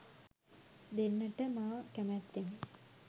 දෙන්නට මා කැමැත්තෙමි.